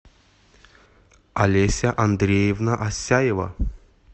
олеся андреевна асяева